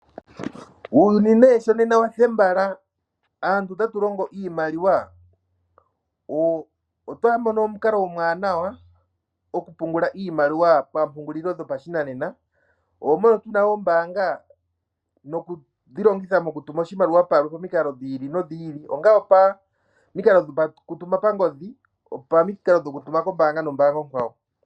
Uuyuni nee nena sho wathembala .Aantu otalongo iimaliwa otwa mono omukalalo omwanawa gokupungula iimaliwa pamupungulilo dhopa shinanena. Moka tuna ombaanga nokudhilongitha okutuma oshimaliwa pamiikalo dhili nodhili ongaa opo miikalo dhoku tuma pangodhi opamiikalo dhokutuma kombanga nombanga okwawo.